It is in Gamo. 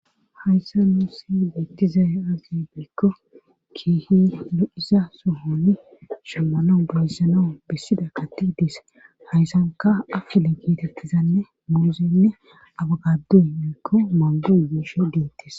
Hayssa nuussi biettizay asi biikko kiihi lo7iza sohonni shammano boyssanoo bissida kati dis hayssanka afile kiitettizanne muuzeynne abagadduy biikko maangoy biishe deettis